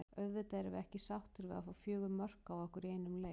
Auðvitað erum við ekki sáttir við að fá fjögur mörk á okkur í einum hálfleik.